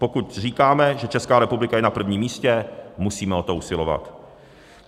Pokud říkáme, že Česká republika je na prvním místě, musíme o to usilovat.